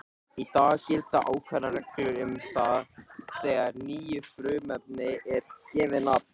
Í dag gilda ákveðnar reglur um það þegar nýju frumefni er gefið nafn.